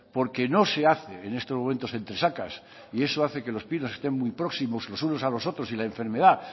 porque no se hace en estos momentos entresacas y eso hace que los pinos estén muy próximos los unos a los otros y la enfermedad